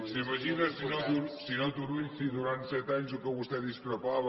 s’imagina senyor turull si durant set anys del que vostè discrepava